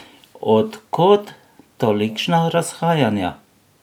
Od kod tolikšna razhajanja?